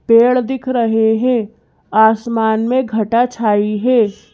पेड़ दिख रहे हैं आसमान में घटा छाई है।